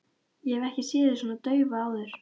Ég hef ekki séð þig svona daufa áður.